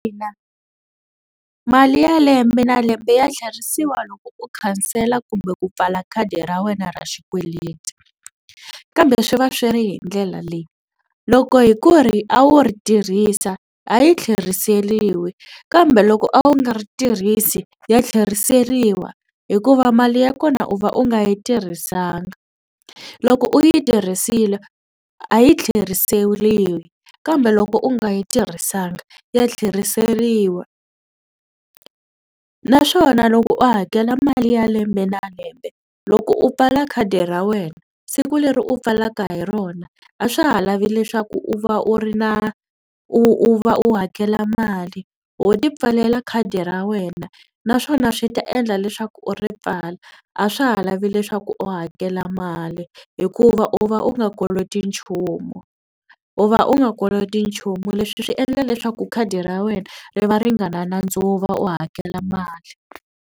mali ya lembe na lembe ya tlherisiwa loko u khansela kumbe ku pfala khadi ra wena ra xikweleti kambe swi va swi ri hi ndlela leyi. Loko hi ku ri a wu ri tirhisa a yi tlheriseriwi kambe loko a wu nga ri tirhisi ya tlheriseriwa hikuva mali ya kona u va u nga yi tirhisanga. Loko u yi tirhisile a yi tlheriseriwi kambe loko u nga yi tirhisanga ya tlheriseriwa naswona loko u hakela mali ya lembe na lembe loko u pfala khadi ra wena siku leri u pfalaka hi rona a swa ha lavi leswaku u va u ri na u u va u hakela mali ho tipfalela khadi ra wena naswona swi ta endla leswaku u ri pfala a swa ha lavi leswaku u hakela mali hikuva u va u nga koloti nchumu u va u nga koloti nchumu. Leswi swi endla leswaku khadi ra wena ri va ri nga na nandzu wo hakela mali.